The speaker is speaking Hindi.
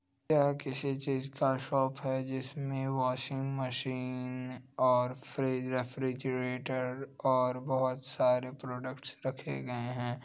यह किसी चीज का शॉप है जिसमें वाशिंग मशीन और फ्रिज रेफ्रिजरेटर और बहोत सारे प्रोडक्ट्स रखे गए हैं।